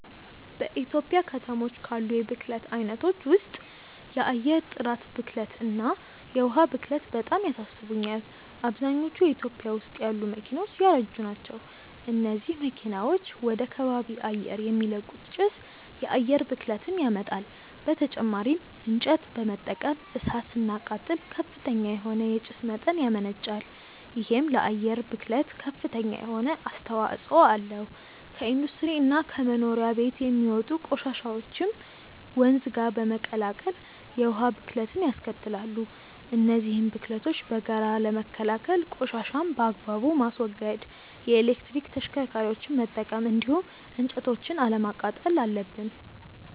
በኢትዮጵያ ከተሞች ካሉ የብክለት አይነቶች ውስጥ የአየር ጥራት ብክለት እና የዉሃ ብክለት በጣም ያሳስቡኛል። አብዛኞቹ ኢትዮጵያ ውስጥ ያሉ መኪናዎች ያረጁ ናቸው። እነዚህ መኪናዎች ወደ ከባቢ አየር የሚለቁት ጭስ የአየር ብክለትን ያመጣል። በተጨማሪም እንጨት በመጠቀም እሳት ስናቃጥል ከፍተኛ የሆነ የጭስ መጠን ያመነጫል። ይሄም ለአየር ብክለት ከፍተኛ የሆነ አስተዋጽኦ አለው። ከኢንዱስትሪ እና ከመኖሪያ ቤቶች የሚወጡ ቆሻሻዎችም ወንዝ ጋር በመቀላቀል የውሃ ብክለትንያስከትላሉ። እነዚህን ብክለቶች በጋራ ለመከላከል ቆሻሻን በአግባቡ ማስወገድ፣ የኤሌክትሪክ ተሽከርካሪዎችን መጠቀም እንዲሁም እንጨቶችን አለማቃጠል አለብን።